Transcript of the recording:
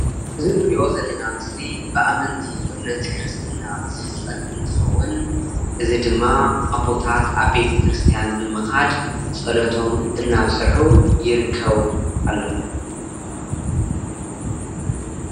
እዚ እንሪኦ ዘለና ምስሊ ብኣመንቲ እምነት ክርስትና ዝፍፀም እንትከውን እዚ ድማ ኣቦታት ኣብ ቤተ ክርስትያን ብምካድ ፀለቶም እናብጽሑ ይርከቡ ኣለው፡፡